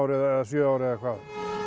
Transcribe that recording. eða sjö ár eða hvað